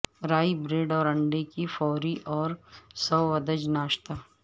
رائ bread اور انڈے کی فوری اور سوادج ناشتا